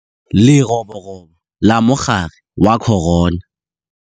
Leroborobo la Mogare wa Corona.